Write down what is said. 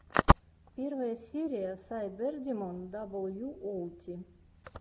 первая серия сайбердимон даблюоути